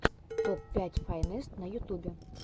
топ пять файнест на ютубе